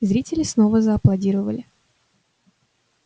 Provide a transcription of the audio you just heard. зрители снова зааплодировали